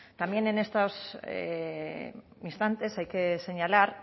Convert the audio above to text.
también en estos instantes hay que señalar